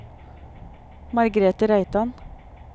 Margrethe Reitan